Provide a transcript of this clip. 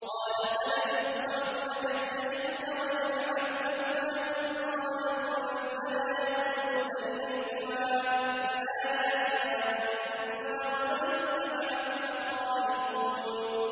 قَالَ سَنَشُدُّ عَضُدَكَ بِأَخِيكَ وَنَجْعَلُ لَكُمَا سُلْطَانًا فَلَا يَصِلُونَ إِلَيْكُمَا ۚ بِآيَاتِنَا أَنتُمَا وَمَنِ اتَّبَعَكُمَا الْغَالِبُونَ